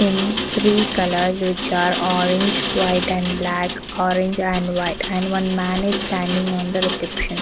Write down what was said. In three colors which are orange white and black orange and white and one man is standing on the reception.